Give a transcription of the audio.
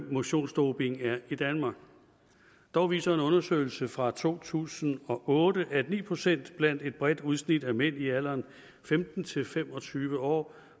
motionsdoping er i danmark dog viser en undersøgelse fra to tusind og otte at ni procent blandt et bredt udsnit af mænd i alderen femten til fem og tyve år